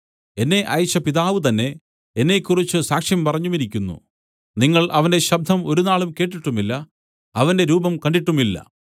എന്നെ അയച്ച പിതാവുതന്നെ എന്നെക്കുറിച്ച് സാക്ഷ്യം പറഞ്ഞിരിക്കുന്നു നിങ്ങൾ അവന്റെ ശബ്ദം ഒരുനാളും കേട്ടിട്ടുമില്ല അവന്റെ രൂപം കണ്ടിട്ടുമില്ല